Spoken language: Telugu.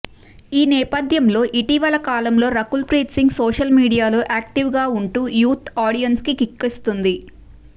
ఈ నేపథ్యంలో ఇటీవలి కాలంలో రకుల్ ప్రీత్ సింగ్ సోషల్ మీడియాలో యాక్టివ్గా ఉంటూ యూత్ ఆడియన్స్కి కిక్కిస్తోంది